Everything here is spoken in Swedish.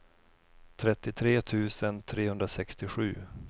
trettiotre tusen trehundrasextiosju